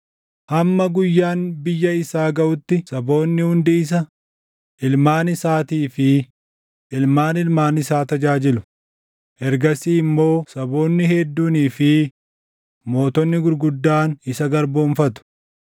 Hamma guyyaan biyya isaa gaʼutti saboonni hundi isa, ilmaan isaatii fi ilmaan ilmaan isaa tajaajilu; ergasii immoo saboonni hedduunii fi mootonni gurguddaan isa garboomfatu.